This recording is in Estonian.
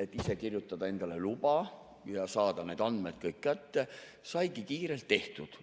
et ise kirjutada endale luba ja saada need andmed kätte, siis saigi kiirelt tehtud.